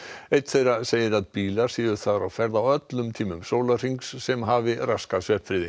einn þeirra segir að bílar séu þar á ferð á öllum tímum sólarhrings sem hafi raskað